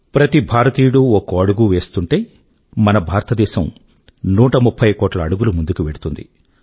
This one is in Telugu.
ప్రతి భారతీయుడూ ఒక్కో అడుగూ వేస్తూంటే మన భారతదేశం 130 కోట్ల అడుగులు ముందుకు వెళ్తుంది